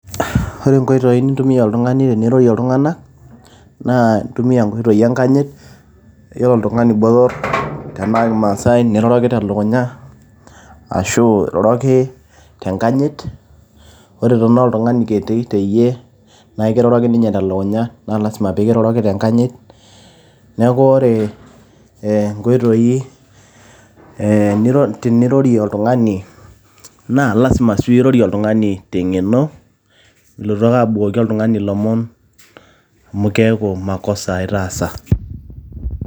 ore inkoitoi nintumia oltung'ani tenirorie iltung'anak' naa intumia inkoitoi enkanyit yiolo oltung'ani botorr tenaa kimaasae niroroki teleukunya ashu iroroki tenkanyit ore tenaa oltung'ani kiti teyie naa ikiroroki ninye telukunya naa lazima peekiroroki tenkanyit neeku ore eh, inkoitoi eh tenirorie oltung'ani naa lazima sii pirorie oltung'ani teng'eno milotu ake abukoki oltung'ani ilomon amu keeku makosa itaasa.